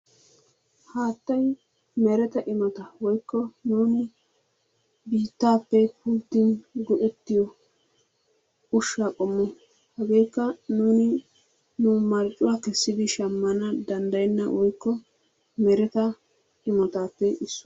Haattay mereta imota woyikko nuuni biittaappe pulttin go'ettiyo ushsha qommo. A nuuni nu marccuwa kessidi shammana danddayenna woyikko mereta imotaappe issuwa.